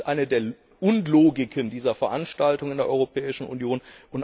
Das ist eine der Unlogiken dieser Veranstaltung in der Europäischen Union.